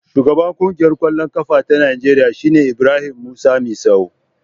Shugaban Ƙungiyar ƙwallon ƙafa ta Najeriya shine Ibrahim Musa Misau.